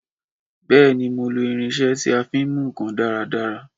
Bèéní, mi o lò irinsé tí a fin mú nkan dáradára